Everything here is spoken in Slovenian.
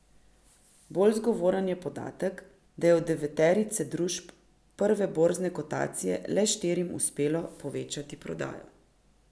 Bolj zgovoren pa je podatek, da je od deveterice družb prve borzne kotacije le štirim uspelo povečati prodajo.